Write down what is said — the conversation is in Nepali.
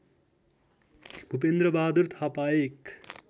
भूपेन्द्रबहादुर थापा एक